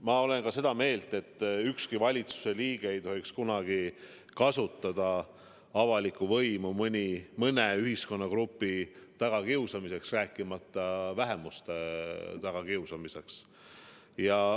Ma olen ka seda meelt, et ükski valitsuse liige ei tohiks kunagi kasutada avalikku võimu mõne ühiskonnagrupi tagakiusamiseks, rääkimata vähemuste tagakiusamisest.